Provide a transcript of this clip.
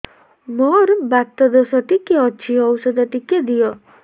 ମୋର୍ ବାତ ଦୋଷ ଟିକେ ଅଛି ଔଷଧ ଟିକେ ଦିଅ